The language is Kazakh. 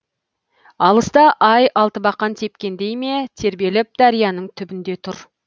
алыста ай алтыбақан тепкендей ме тербеліп дарияның түбінде тұр